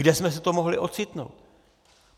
Kde jsme se to mohli ocitnout?